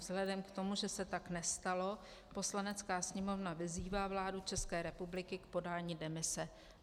Vzhledem k tomu, že se tak nestalo, Poslanecká sněmovna vyzývá vládu České republiky k podání demise."